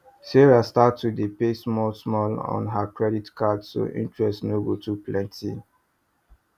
sarah start to dey pay smallsmall on her credit card so interest no go too plenty